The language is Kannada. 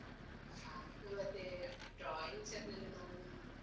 ಅದ್ದು ಮತ್ತೆ drawing ಅಲ್ಲೆಲ್ಲ ನಾನು ಹಿಂದೆ.